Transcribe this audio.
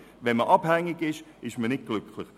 Wenn man abhängig ist, ist man nicht glücklich.